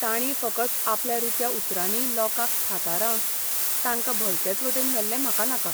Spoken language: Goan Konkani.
ताणीं फकत आपल्या रित्या उतरांनी लोकांक थाथारावन तांकां भलतेच वटेन व्हेल्ले म्हाका नाका.